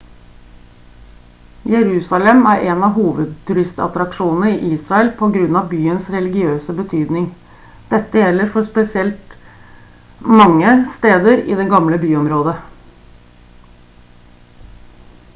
jerusalem er en av hovedturistattraksjonene i israel på grunn av byens religiøse betydning dette gjelder spesielt for mange steder i det gamle byområdet